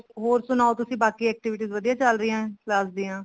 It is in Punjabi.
ਹੋਰ ਸਨਾਓ ਤੁਸੀਂ ਬਾਕੀ activities ਵਧੀਆ ਚੱਲ ਰਹੀਆਂ class ਦੀਆਂ